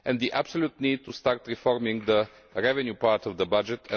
tasks and the absolute need to start reforming the revenue part of the